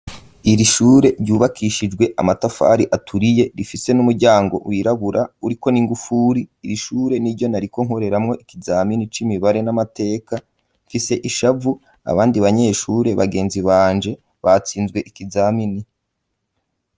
Iri shure ryubakishijwe amatafari aturiye rifise n'umuryango wirabura uriko n'ingufuri iri shure niryo nariko nkoreramwo ibiharuro n'amateka mfise ishavu abandi banyeshure bagenzi banje batsinze .